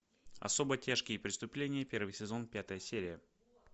особо тяжкие преступления первый сезон пятая серия